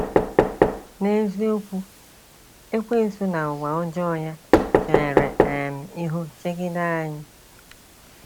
N'eziokwu, ekwensu na ụwa ọjọ ya chere um ihu chegide anyị.